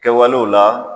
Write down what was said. Kɛwalew la